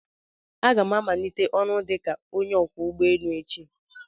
Aga m amanite ọrụ dika onye ọkwọ ụgbọ enu echi